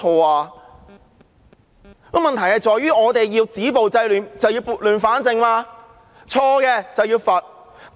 現在的問題在於我們要止暴制亂，便要撥亂反正，錯的便要罰。